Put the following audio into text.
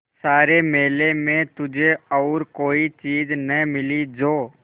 सारे मेले में तुझे और कोई चीज़ न मिली जो